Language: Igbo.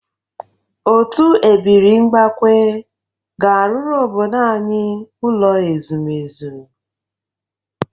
Otu ebiri mbakwe ga-arụrụ obodo anyị ụlọ ezumezu.